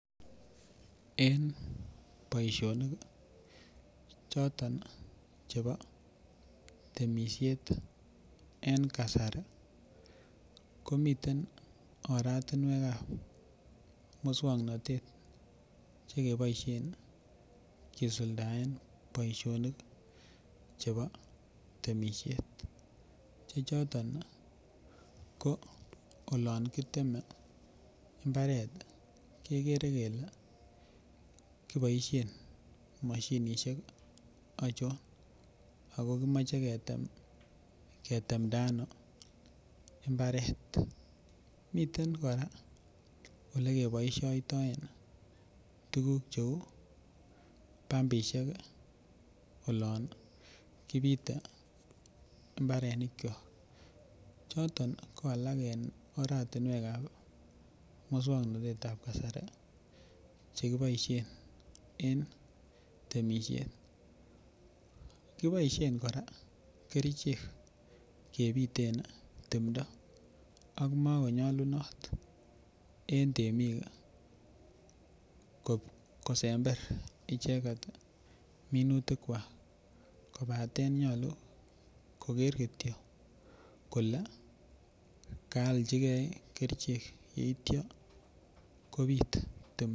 En boishonik kii choto chebo temishet en kasari komiten oratunwekab miswoknotet chekeboishen kisuldaen boishonik chebo temishet che choto ko olon kiteme imbaret kekere kele kiboishen moshinishek ochon Ako kimoche ketem ketemdano imbaret miten koraa ole keboishoitoen tukuk cheu pumpishek kii olon kipite imbarenik kyok choto ko alak en oratunwekab miswoknotetab kasari chekeboishen en temishet. Kiboishen koraa kerichek kepitem timdo Ako mokonyolunot en temik kosember is icheket minutik kwak kopaten nyolu koker kityo kole koaljigee kerichek yeityo kopit timoton.